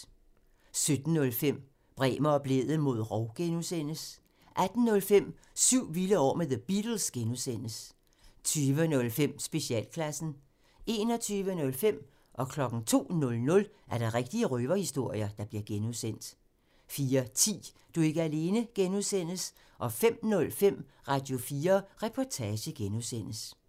17:05: Bremer og Blædel mod rov (G) 18:05: Syv vilde år med The Beatles (G) 20:05: Specialklassen 21:05: Rigtige røverhistorier (G) 02:00: Rigtige røverhistorier (G) 04:10: Du er ikke alene (G) 05:05: Radio4 Reportage (G)